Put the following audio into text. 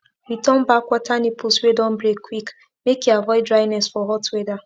return back water nipples wey don break quick make e avoid dryness for hot weather